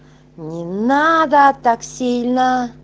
не надо так сильно